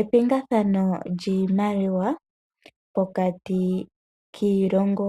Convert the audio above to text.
Epingathano lyiimaliwa pokati kiilongo